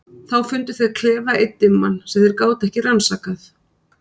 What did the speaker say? Þá fundu þeir klefa einn dimman, sem þeir gátu ekki rannsakað.